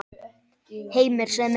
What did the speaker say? Heimir: Sem er?